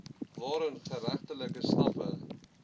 waarin geregtelike stappe